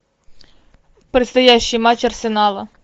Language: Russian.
предстоящий матч арсенала